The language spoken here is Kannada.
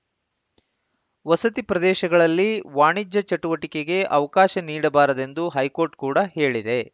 ವಸತಿ ಪ್ರದೇಶಗಳಲ್ಲಿ ವಾಣಿಜ್ಯ ಚಟುವಟಿಕೆಗೆ ಅವಕಾಶ ನೀಡಬಾರದೆಂದು ಹೈಕೋರ್ಟ್‌ ಕೂಡ ಹೇಳಿದೆ